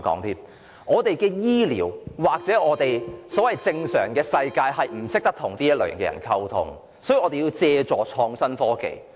香港醫療世界或所謂"正常世界"的人不懂得如何與他們溝通，所以要借助創新科技。